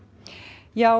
já